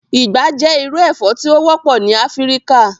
Igba jẹ iru ẹfọ ti o wọpọ ni Afirika